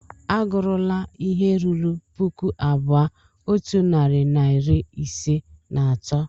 A gụrula ihe ruru puku abụọ otu narị na iri ise na atọ!